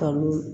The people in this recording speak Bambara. Kalo